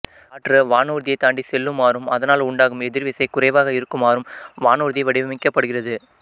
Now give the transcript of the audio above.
காற்று வானூர்தியை தாண்டிச்செல்லுமாறும் அதனால் உண்டாகும் எதிர்விசை குறைவாக இருக்குமாறும் வானூர்தி வடிவமைக்கப்படுகிறது